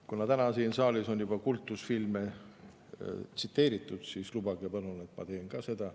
Kuna täna siin saalis on juba kultusfilme tsiteeritud, siis lubage palun, et ma teen ka seda.